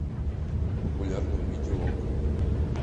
популярное видео окко